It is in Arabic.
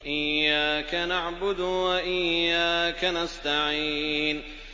إِيَّاكَ نَعْبُدُ وَإِيَّاكَ نَسْتَعِينُ